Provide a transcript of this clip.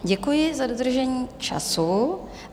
Děkuji za dodržení času.